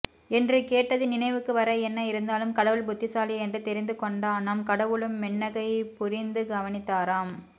என்று கேட்டது நினைவுக்கு வர என்ன இருந்தாலும் கடவுள் புத்திசாலி என்று தெரிந்து கொண்டானாம் கடவுளும் மென்னகை புரிந்து கவனித்தாராம்